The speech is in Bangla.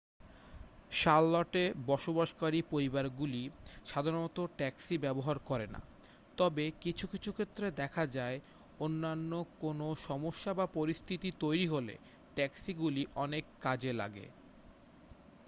শার্লটে বসবাসকারী পরিবারগুলি সাধারণত ট্যাক্সি ব্যবহার করে না তবে কিছু কিছু ক্ষেত্রে দেখা যায় অন্যান্য কোনও সমস্যা বা পরিস্থিতি তৈরি হলে ট্যাক্সিগুলি অনেক কাজে লাগে